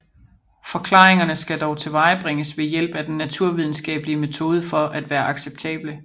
Forklaringerne skal dog tilvejebringes ved hjælp af den naturvidenskabelige metode for at være acceptable